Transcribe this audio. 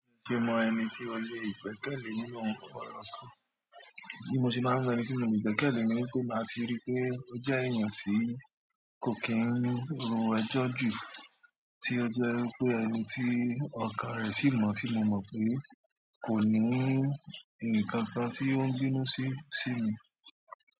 Ṣé o mọ ẹni tí o lè gbẹ́kẹ̀lé nínú ọ̀rọ̀ kan? Bí mo ṣe máa ń mọ ẹni tí mo lè gbẹ́kẹ̀lé ni wípé màá ti ríi wípé ó jẹ́ èèyàn tí kò kí ń ro ẹjọ́ jù, tí ó jẹ́ wípé ẹni tí ọkàn rẹ̀ sì mọ́, tí mo mọ̀ pé kò ní nǹkan kan tí ó ń bínú sí, sí mi.